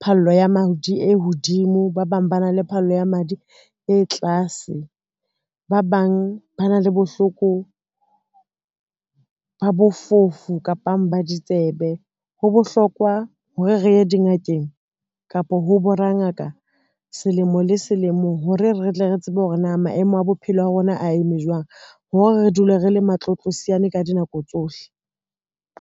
phallo ya madi e hodimo, ba bang ba na le phallo ya madi e tlase, ba bang ba na le bohloko ba bofofu kapang ba ditsebe. Ho bo hlokwa hore re ye dingakeng kapa ho borangaka selemo le selemo hore re tle re tsebe hore na maemo a bophelo a rona a eme jwang hore re dule re le matlotlosiane ka dinako tsohle.